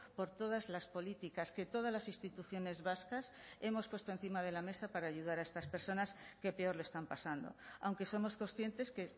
por todas las políticas que todas las instituciones vascas hemos puesto encima de la mesa para ayudar a estas personas que peor lo están pasando aunque somos conscientes que